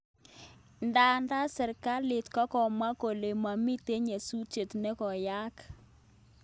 Ndadan serkalit kokomwa kole mamiten nyatusiet nikoyaaak